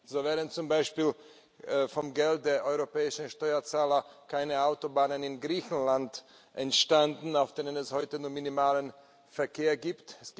So wären zum Beispiel vom Geld der europäischen Steuerzahler keine Autobahnen in Griechenland entstanden, auf denen es heute nur minimalen Verkehr gibt.